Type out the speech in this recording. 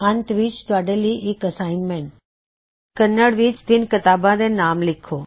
ਅੰਤ ਵਿੱਚ ਤੁਹਾਡੇ ਲਈ ਇਕ ਨਿਯਤ ਕਾਰਜ ਕੰਨੜ ਵਿੱਚ ਤਿੰਨ ਕਿਤਾਬਾਂ ਦੇ ਨਾਮ ਲਿਖੋ